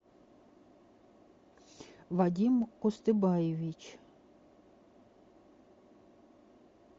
вадим кустыбаевич